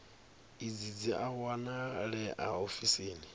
idzi dzi a wanalea ofisini